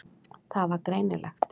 Það var greinilegt.